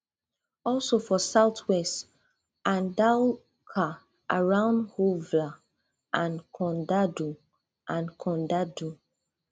also for southwest andaluca around huelva and condado and condado